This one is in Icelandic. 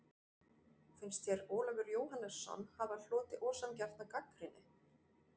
Finnst þér Ólafur Jóhannesson hafa hlotið ósanngjarna gagnrýni?